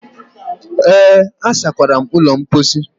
Ee, asakwara m ụlọ mposi.